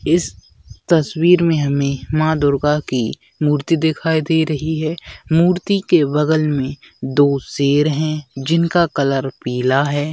इस तस्वीर में हमें मां दुर्गा की मूर्ति दिखाई दे रही है मूर्ति के बगल में दो दो शेर है जिनका कलर पीला है।